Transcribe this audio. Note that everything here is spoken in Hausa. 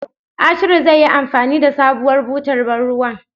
Ashiru zai yi anfani da sabuwar butar bar ruwan.